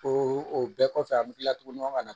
O bɛɛ kɔfɛ an bɛ tila tugu ɲɔgɔn ka na